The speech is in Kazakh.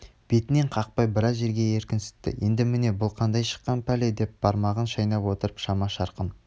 бетінен қақпай біраз жерге еркінсітті енді міне бұл қайдан шыққан пәле деп бармағын шайнап отыр шама-шарқын